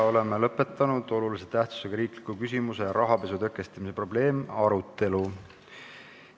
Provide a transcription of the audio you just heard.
Oleme lõpetanud olulise tähtsusega riikliku küsimuse "Rahapesu tõkestamise probleem" arutelu.